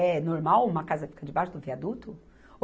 É normal uma casa ficar debaixo do viaduto?